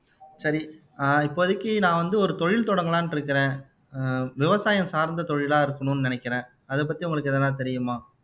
சரி ஆஹ் இப்போதைக்கு நான் வந்து ஒரு தொழில் தொடங்கலாம்னு இருக்கிறேன் விவசாயம் சார்ந்த தொழிலா இருக்கணும்னு நினைக்கிறேன் அதை பத்தி உங்களுக்கு எதுனா தெரியுமா